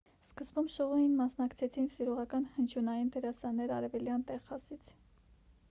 սկզբում շոուին մասնակցեցին սիրողական հնչյունային դերասաններ արևելյան տեխասից